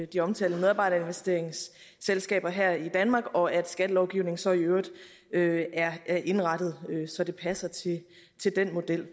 de omtalte medarbejderinvesteringsselskaber her i danmark og at skattelovgivningen så i øvrigt øvrigt er er indrettet så den passer til den model